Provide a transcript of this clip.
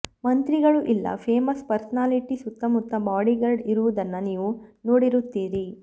ಮಂತ್ರಿಗಳು ಇಲ್ಲಾ famous personality ಸುತ್ತಮುತ್ತ ಬಾಡಿಗಾರ್ಡ್ ಇರುವುದನ್ನ ನೀವು ನೋಡಿರುತ್ತೀರಿ